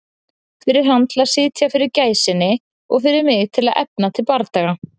Fyrir hann til að sitja fyrir gæsinni og fyrir mig til að efna til bardaga.